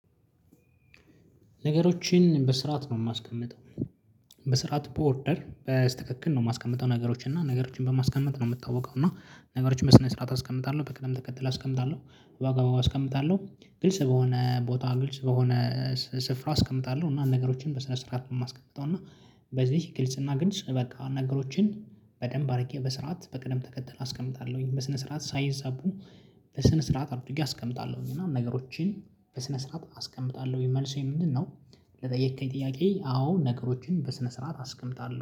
ነገሮችን በስራት ነው የማስቀምጠው። በስራት በወርደር በስተክክል ነው የማስቀምጠው ነገሮች እና ነገሮችን በማስቀመጥ ነው የምታወቀው እና ነገሮችን በስነ ስርዓት አስቀምጣለሁ በቅደም ተከትለህ አስቀምጣለሁ ዋጋው አስቀምጣለሁ ግልጽ በሆነ ቦታ ግልጽ በሆነ ስፍራ አስቀምጣለሁ። እና ነገሮችን በስነ ስርዓት ነው የማስቀምጠው እና በዚህ ግልጽ እና ግንጭ በቃ ነገሮችን በደንብ አድርጌ በስርዓት በቅደም ተከተል አስቀምጣለሁኝ በስነ ስርዓት ሳይዛቡ በስነ ስርዓት አድርጌ አስቀምጣለሁኝ። እና ነገሮችን በስነ ስርዓት አስቀምጣለሁኝ። መልሴ ምንድነው? ለጠየከኝ ጥያቄ አዎ ነገሮችን በስነ ስርዓት አስቀምጣለሁ